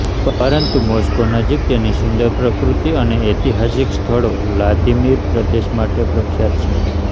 પરંતુ મોસ્કો નજીક તેની સુંદર પ્રકૃતિ અને ઐતિહાસિક સ્થળો વ્લાદિમીર પ્રદેશ માટે પ્રખ્યાત છે